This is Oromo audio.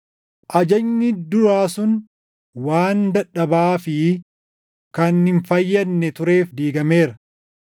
Ajajni duraa sun waan dadhabaa fi kan hin fayyadne tureef diigameera.